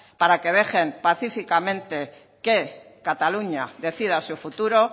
para que dejen pacíficamente que cataluña decida su futuro